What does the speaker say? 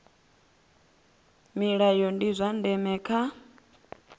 milayo ndi zwa ndeme kha